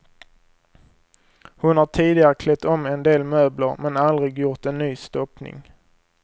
Hon har tidigare klätt om en del möbler men aldrig gjort en ny stoppning.